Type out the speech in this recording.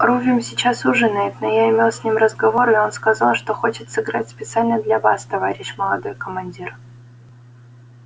рувим сейчас ужинает но я имел с ним разговор и он сказал что хочет сыграть специально для вас товарищ молодой командир